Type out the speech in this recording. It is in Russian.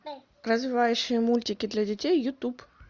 развивающие мультики для детей ютуб